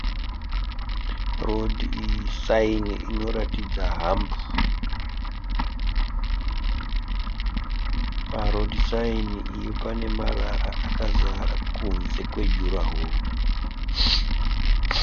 Rhodhi iyi saini inoratidza hambu. Parhodhi saini iyo pane marara akazara kunze kwejurahoro.